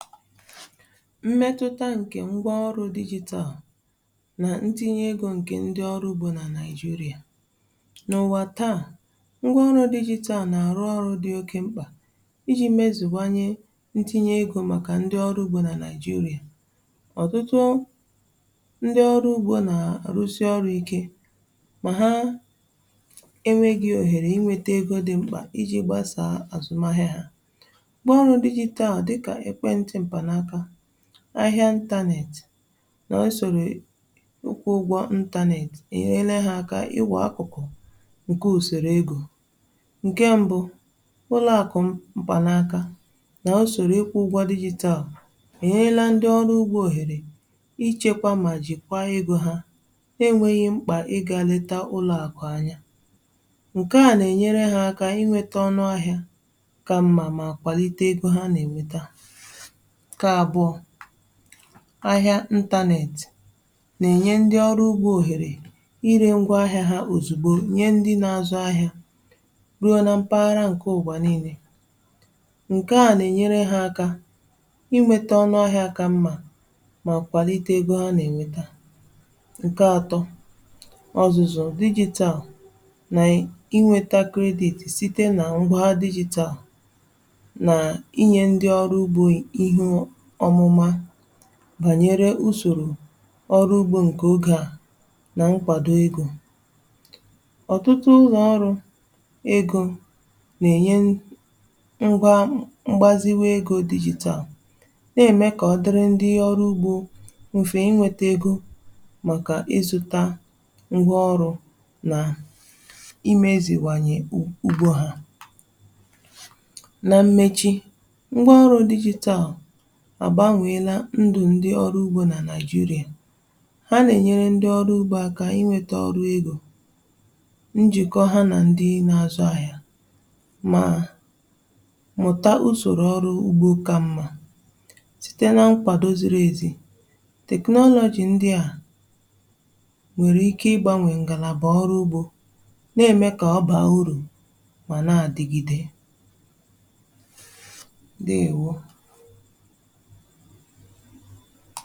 Mmetùtà nkè ngwà ọrụ̀ digital nà ntinyè egō nkè ndị̀ ọrụ̀ ugbò nà Naijirià n’ụwà taa ngwà ọrụ̀ digital na-arụ̀ ọrụ̀ dị̀ okè m̄kpà ijì mezùwanyè ntinyè egō màkà ndị̀ ọrụ̀ ugbo nà Naijirià ọtụtụ ndị̀ ọrụ̀ ugbò na-arụsị̀ ọrụ̀ ikè mà hà enweghì oherè inwetà egō dị̀ m̄kpà I jì gbasà azụmà ahịà hà ngwà ọrụ̀ digital dịkà ekwè ntị̀ mpànàkà ahịà internet n’usorò ọkwụ̀ ụgwụ̀ internet e nyerelè hà aka inwè akụ̀kụ̀ nkè usorò egō nkè mbụ̀ ụlọ̀ akụ̀ mpànakà n’usorò ịkwụ̀ ụgwọ̀ digital e nyelà ndị̀ ọrụ̀ ugbò oherè ichekwà mà jikwà egō hà na-enweghì mkpà ị ga-letà ụlọ̀ akụ̀ anya nke à na-enyerè hà aka inwetà ọnụ̀ ahịà kà mmà mà kwalitè egō hà na-enwetà nkè abụọ̀ ahịà internet na-enyè ndị̀ ọrù oherè irè ngwà ahịà hà ozùgbò nyè ndị̀ na-azụ̀ ahịà ruò nà mpagharà nkè ụwà niinè nke à na-enyerè hà aka inwetà ọnụ̀ ahịà kà mmà mà kwalitè egō hà na-enwetà nkè atọ̀ ọzụ̀zụ̀ digital nà inwetà credit sitē nà ngwà digital na-enyè ndị̀ ọrụ̀ ugbò ihù ọmụ̀mà banyerè usorò ọrụ̀ ugbò nkè ogè à nà nkwàdò egō ọtụtụ ụlọ̀ ọrụ̀ egō na-enyè ngwà mgbazìwè egō digital na-emè kà ọ dịrị̀ ndị̀ ọrụ̀ ugbò ofè inwetà egō màkà izụ̀tà ngwà ọrụ̀ nà imeziwànyè ugbò hà nà mmechì ngwà ọrụ̀ digital agbànwelà ndụ̀ ndị̀ ọrụ̀ ugbò nà Naijirià hà na-enyerè ndị̀ ọrụ̀ ugbò aka inwetà ọrụ̀ egō njikọ̀ hà nà ndị̀ na-azụ̀ ahịà mà mụtà usorò ọrụ̀ ugbò kà mmà sitē nà nkwàdò zirì ezì technology ndị̀ à nwerè ike igbànwè ngàlabà ọrụ̀ ugbò na-emè kà ọ baa urù mà na-adị̀gidè ndewò!